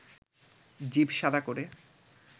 জিভ শাদা করে